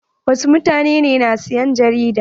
Wasu mutanen na siyan jarida.